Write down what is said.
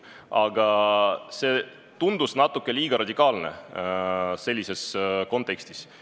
Aga see tundus natuke liiga radikaalne sellises kontekstis.